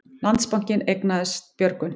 Landsbankinn eignast Björgun